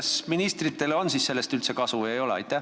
Kas ministritele on sellest üldse kasu või ei ole?